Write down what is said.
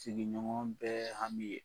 Sigiɲɔgɔn bɛ hami ye.